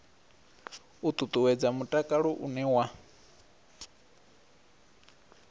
u ṱuṱuwedza mutakalo une wa